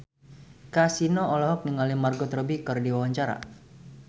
Kasino olohok ningali Margot Robbie keur diwawancara